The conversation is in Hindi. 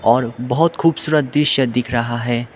और बहोत खूबसूरत दृश्य दिख रहा है।